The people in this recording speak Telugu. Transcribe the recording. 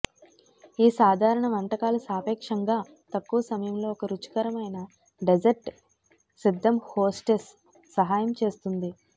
ఈ సాధారణ వంటకాలు సాపేక్షంగా తక్కువ సమయంలో ఒక రుచికరమైన డెజర్ట్ సిద్ధం హోస్టెస్ సహాయం చేస్తుంది